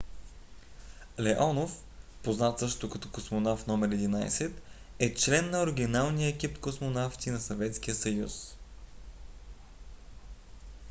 леонов познат също като космонавт № 11 е член на оригиналния екип космонавти на съветския съюз